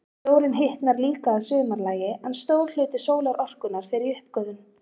Sjórinn hitnar líka að sumarlagi, en stór hluti sólarorkunnar fer í uppgufun.